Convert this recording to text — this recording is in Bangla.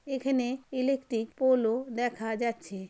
এখানে ইলেকট্রিক পোলও দেখা যাচ্ছে।